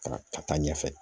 Ka ka taa ɲɛfɛ